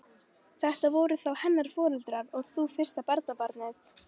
Þetta voru þó hennar foreldrar og þú fyrsta barnabarnið.